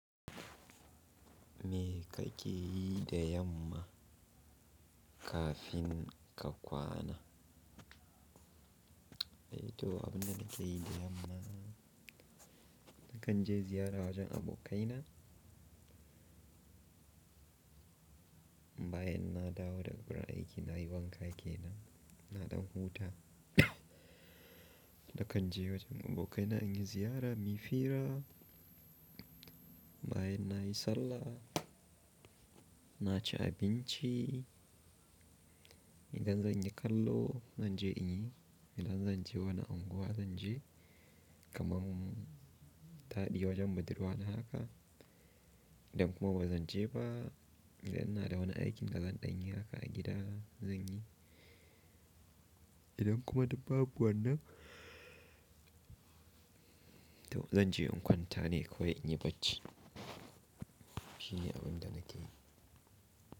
Mi ka ke yi da yamma kafin ka kwana? To, abin da na ke yi da yamma, da kan je ziyara wajen abokaina. Bayan na dawo daga wurin aiki, na yi wanka ke nan, na ɗan huta. Na kan je wajen abokaina in yi ziyara, mu yi fira. Bayan na yi sallah, na ci abinci. Idan zan yi kallo, zan je in yi. Idan zan je wani unguwa, zan je. Kamam taɗi wajen budurwa na haka. Idan kuma ba zan je ba, idan ina da wani aikin da zan ɗan yi haka a gida, zan yi. Idan kuma dabbabuwannan, to zan je in kwanta ne, ko in yi bacci. Shine abin da na yi.